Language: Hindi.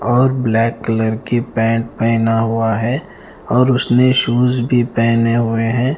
और ब्लैक कलर की पैंट पहना हुआ है और उसने शूज भी पहने हुए हैं।